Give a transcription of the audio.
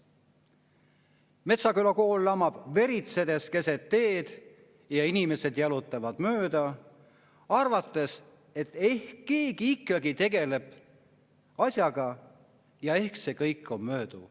– K. G.] Metsküla kool lamab veritsedes keset teed ja inimesed jalutavad mööda arvates, et ehk keegi ikka tegeleb asjaga ja ehk läheb mööda.